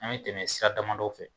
An bɛ tɛmɛ sira damadɔw fɛ